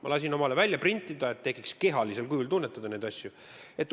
Ma lasin endale välja printida, et kehalisel kujul neid asju tunnetada.